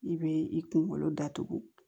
I bɛ i kunkolo datugu